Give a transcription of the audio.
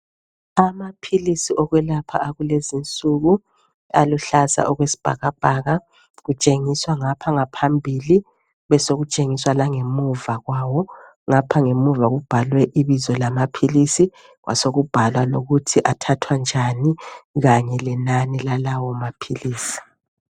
Amaphilisi okwelapha akulezinsuku aluhlaza okwesibhakabhaka kutshengiswa ngapha ngaphambili besekutshengiswa langemuva kwawo ngapha ngemuva kubhalwe ibizo lamaphilisi kwasobhalwa ukuthi athathathwa njani kanye lenani lalawo maphilisi